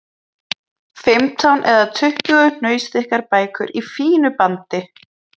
Fimmtán eða tuttugu hnausþykkar bækur í fínu bandi!